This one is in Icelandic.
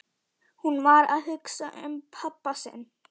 Hún var að hugsa um pabba sinn.